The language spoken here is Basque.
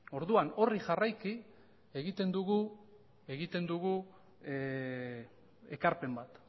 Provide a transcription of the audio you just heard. orduan hori jarraiki egiten dugu ekarpen bat